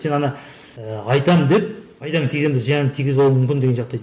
сен ана ыыы айтамын деп пайдам тигіземін деп зиян тигізіп алу мүмкін деген